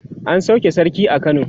an sauke sarki a kano